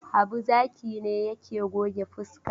Habu Zaki ne yake goge fuska.